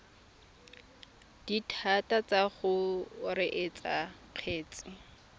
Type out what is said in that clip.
dithata tsa go reetsa kgetse